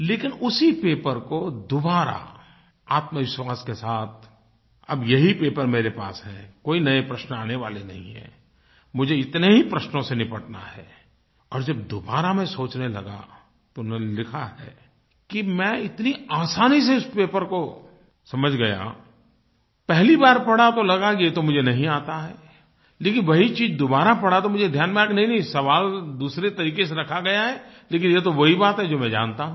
लेकिन उसी पेपर को दोबारा आत्मविश्वास के साथ अब यही पेपर मेरे पास है कोई नये प्रश्न आने वाले नहीं हैं मुझे इतने ही प्रश्नों से निपटना है और जब दोबारा मैं सोचने लगा तो उन्होंने लिखा है कि मैं इतनी आसानी से इस पेपर को समझ गया पहली बार पढ़ा तो लगा कि ये तो मुझे नहीं आता है लेकिन वही चीज़ दोबारा पढ़ा तो मुझे ध्यान में आया कि नहींनहीं सवाल दूसरे तरीक़े से रखा गया है लेकिन ये तो वही बात है जो मैं जानता हूँ